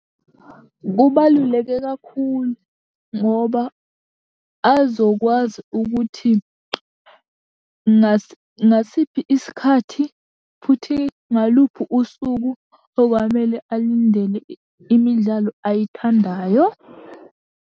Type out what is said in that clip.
Kubaluleke kakhulu, ngoba azokwazi ukuthi ngasiphi isikhathi, futhi ngaluphi usuku okwamele alindele imidlalo ayithandayo.